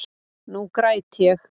Nú græt ég.